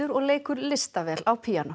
og leikur listavel á píanó